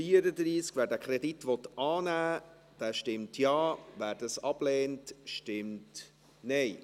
Wer diesen Kredit annehmen will, stimmt Ja, wer dies ablehnt, stimmt Nein.